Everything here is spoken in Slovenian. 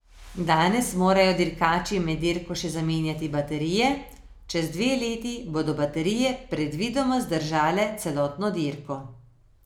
Danes morajo dirkači med dirko še zamenjati baterije, čez dve leti bodo baterije predvidoma zdržale celotno dirko.